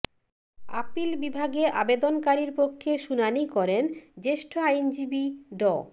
appeal বিভাগে আবেদনকারীর পক্ষে শুনানি করেন জ্যেষ্ঠ আইনজীবী ড